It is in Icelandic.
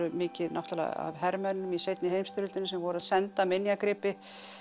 mikið náttúrulega af hermönnum í seinni heimsstyrjöldinni sem voru að senda minjagripi